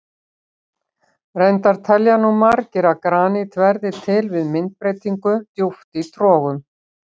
Reyndar telja nú margir að granít verði til við myndbreytingu djúpt í trogum.